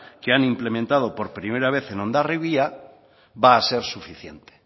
que han implementado por primera vez en hondarribia va a ser suficiente